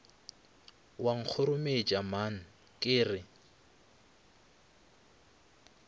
wa nkgorometša man ke re